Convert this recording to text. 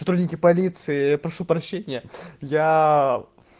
сотрудники полиции я прошу прощения я